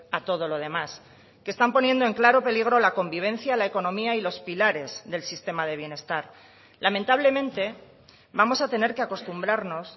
a todo lo demás que están poniendo en claro peligro la convivencia la economía y los pilares del sistema de bienestar lamentablemente vamos a tener que acostumbrarnos